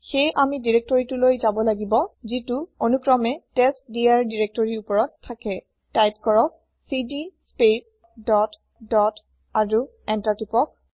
সেয়ে আমি দিৰেক্তৰিটোলৈ যাব লাগিব যিটো অনুক্ৰমে টেষ্টডিৰ দিৰেক্তৰিৰ ওওপৰত থাকে তাইপ কৰক চিডি স্পেচ ডট ডট আৰু এন্তাৰ টিপক